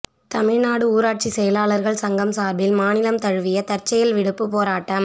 தமிழ்நாடு ஊராட்சி செயலாளர்கள் சங்கம் சார்பில் மாநிலம் தழுவிய தற்செயல் விடுப்பு போராட்டம்